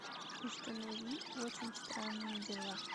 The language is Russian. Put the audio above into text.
установи очень странные дела